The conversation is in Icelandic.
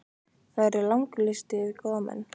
Það yrði langur listi yfir góða menn.